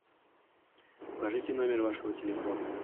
укажите номер вашего телефона